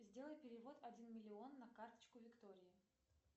сделай перевод один миллион на карточку виктории